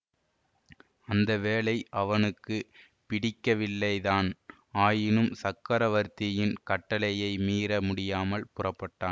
அந்த வேலை அவனுக்கு பிடிக்கவில்லைதான் ஆயினும் சக்கரவர்த்தியின் கட்டளையை மீற முடியாமல் புறப்பட்டான்